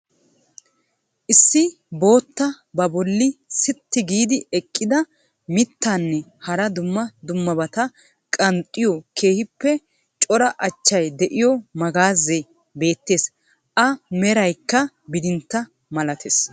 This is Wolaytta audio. Issi bootta ba bolli siitti giidi eqqida mittaanne hara dumma dummabata qanxxiyo keehippe cora achchay de'iyo magaazee beettees. A meraykka bidintta malattees.